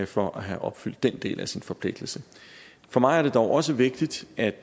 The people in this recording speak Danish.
for at have opfyldt den del af sin forpligtelse for mig er det dog også vigtigt at